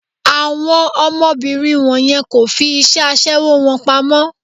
Àwọn ọmọbìnrin wọ̀nyẹn kò fi iṣẹ́ aṣẹwó wọn pamọ́.